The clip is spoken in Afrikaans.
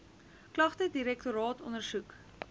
klagte direktoraat ondersoek